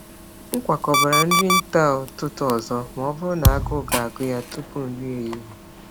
M kwakọbara nri nta ụtụtụ ọzọ ma ọ bụrụ na agụụ ga-agụ ya tupu nri ehihie.